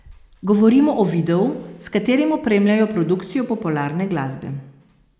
Govorimo o videu, s katerim opremljajo produkcijo popularne glasbe.